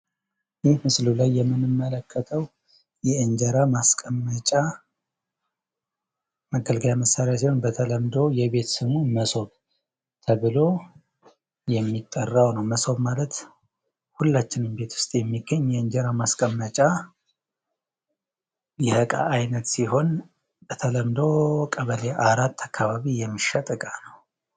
ይህ በምስሉ ላይ የምንመለከተው የእንጀራ ማስቀመጫ መገልገያ መሳሪያ ሲሆን በተለምዶ ሞሶብ ተብሎ የሚጠራው ነው። መሶብ ማለት ሁላችንም ቤት ዉስጥ የሚገኝ የ እንጀራ ማስቀመጫ እቃ ሲሆን በተለምዶ ቀበሌ አራት አካባቢ ይሸጣል።